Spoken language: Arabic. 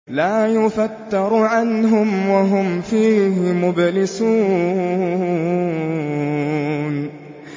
لَا يُفَتَّرُ عَنْهُمْ وَهُمْ فِيهِ مُبْلِسُونَ